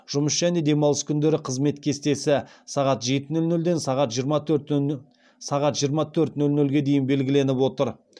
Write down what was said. жұмыс және демалыс күндері қызмет кестесі сағат жеті нөл нөлден жиырма төрт нөл нөлге дейін белгіленіп отыр